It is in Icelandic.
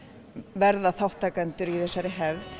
verða þátttakendur í þessari hefð